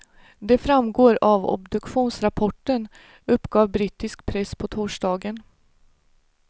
Det framgår av obduktionsrapporten, uppgav brittisk press på torsdagen.